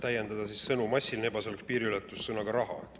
Kas täiendada sõnu "massiline ebaseaduslik piiriületus" sõnaga "raha"?